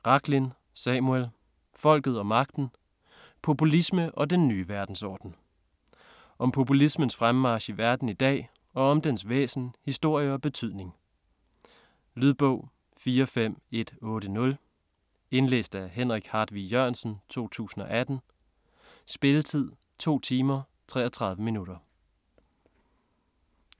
Rachlin, Samuel: Folket og magten: populisme og den nye verdensorden Om populismens fremmarch i verden i dag, og om dens væsen, historie og betydning. Lydbog 45180 Indlæst af Henrik Hartvig Jørgensen, 2018. Spilletid: 2 timer, 33 minutter.